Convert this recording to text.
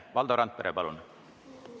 Valdo Randpere, palun!